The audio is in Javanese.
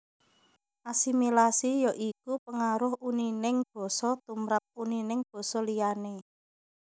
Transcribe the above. Asimilasi ya iku pengaruh unining basa tumrap unining basa liyané